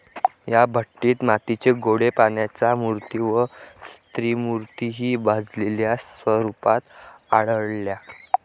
या भट्टीत मातीचे गोळे, प्राण्यांच्या मूर्ती वा स्त्रीमूर्तिहि भाजलेल्या स्वरुपात आढळल्या.